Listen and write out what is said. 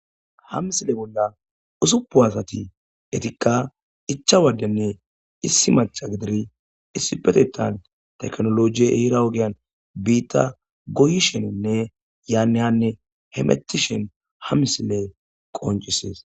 ha misile bolla usuppu asati etikka icha wadenne issi maca gididi issipetetan teknoloji hira ogiyan biitta goyisheninne yaanne hanne hemethishen ha misile qoncisees